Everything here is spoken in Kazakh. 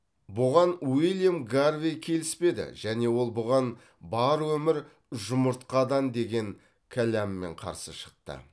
бұған уильям гарвей келіспеді және ол бұған бар өмір жұмыртқадан деген кәламмен қарсы шықты